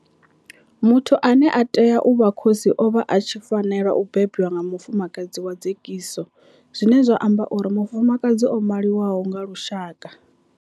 Muthu ane a tea u vha khosi o vha a tshi fanela u bebwa nga mufumakadzi wa dzekiso zwine zwa amba uri mufumakadzi o maliwaho nga lushaka.